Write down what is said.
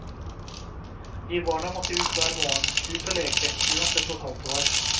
Vi barna måtte ut hver morgen, ut og leke, uansett hvor kaldt det var.